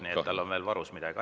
Nii et tal on veel midagi varuks.